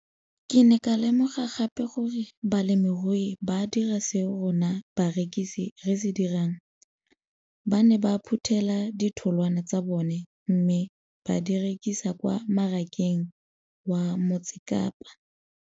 Ke ne ka lemoga gape gore balemirui ba dira seo rona barekisi re se dirang, ba ne ba phuthela ditholwana tsa bona mme ba di rekisa kwa marakeng wa Motsekapa.